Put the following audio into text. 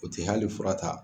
O tɛ hali furata.